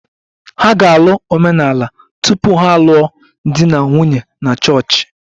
Ha ga-alụ omenala tupu ha alụọ di na nwunye na chọọchị